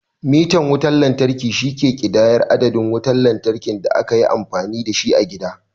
Mitan wutan lantarki, shi ke ƙidayar adadin wutar da aka yi amfani da shi a gida.